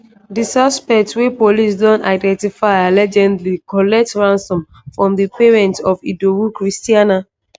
di suspect wey police don identify allegedly collect ransom from di parents of idowu christianah.